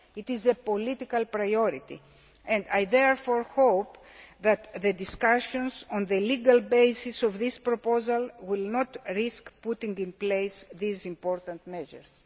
It is a political priority, and I therefore hope that the discussions on the legal basis of this proposal will not risk putting in place these important measures.